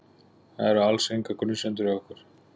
Það eru alls engar grunsemdir hjá okkur.